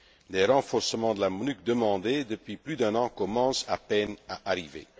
Les renforcements de la MONUC demandés depuis plus d'un an commencent à peine à arriver.